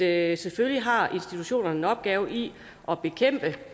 at selvfølgelig har institutionerne en opgave i at bekæmpe